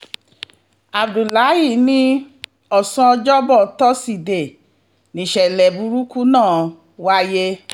abdullahi ní ọ̀sán ọjọ́bọ̀ tọ́sídẹ̀ẹ́ níṣẹ̀lẹ̀ burúkú náà wáyé